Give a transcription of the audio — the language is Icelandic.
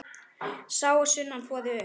Sá að sunnan þvoði upp.